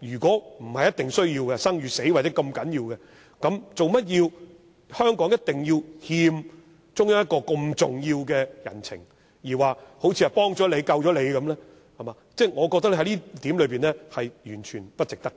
如果不是必須，不是生與死這麼重要的話，為甚麼香港一定要欠中央一個這麼重要的人情，好像幫了我們、救了我們般，我覺得在這點上，完全不值得。